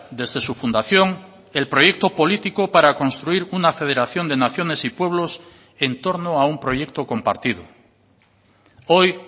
desde su fundación el proyecto político para construir una federación de naciones y pueblos en torno a un proyecto compartido hoy